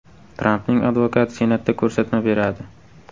Trampning advokati Senatda ko‘rsatma beradi.